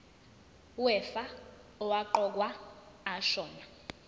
wefa owaqokwa ashona